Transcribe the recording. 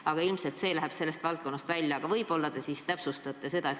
Ilmselt see küsimus läheb selle eelnõu temaatikast välja, aga võib-olla te täpsustate eesseisvat.